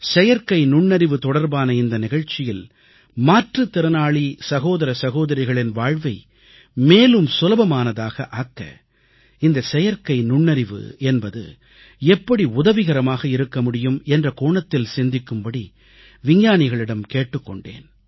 செயற்கை நுண்ணறிவு தொடர்பான இந்த நிகழ்ச்சியில் மாற்றுத்திறனாளி சகோதர சகோதரிகளின் வாழ்வை மேலும் சுலபமானதாக ஆக்க இந்த செயற்கை நுண்ணறிவு என்பது எப்படி உதவிகரமாக இருக்க முடியும் என்ற கோணத்தில் சிந்திக்கும்படி விஞ்ஞானிகளிடம் கேட்டுக் கொண்டேன்